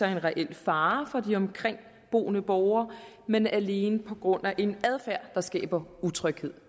reel fare for de omkringboende borgere men alene på grund af en adfærd der skaber utryghed